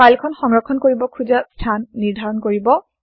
file খন সংৰক্ষণ কৰিব খোজা স্হান নিৰ্ধাৰণ কৰিব